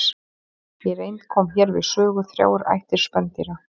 Í reynd koma hér við sögu þrjár ættir spendýra.